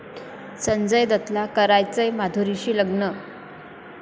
संजय दत्तला करायचंय माधुरीशी लग्न!